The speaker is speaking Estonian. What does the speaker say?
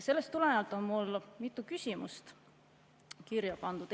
Sellest tulenevalt on meil mitu küsimust kirja pandud.